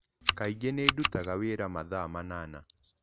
Kaingĩ niĩ ndutaga wĩra mathaa manana.